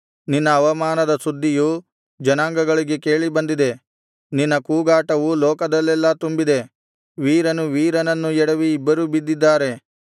ನಿನ್ನ ಅವಮಾನದ ಸುದ್ದಿಯು ಜನಾಂಗಗಳಿಗೆ ಕೇಳಿಬಂದಿದೆ ನಿನ್ನ ಕೂಗಾಟವು ಲೋಕದಲ್ಲೆಲ್ಲಾ ತುಂಬಿದೆ ವೀರನು ವೀರನನ್ನು ಎಡವಿ ಇಬ್ಬರೂ ಬಿದ್ದಿದ್ದಾರೆ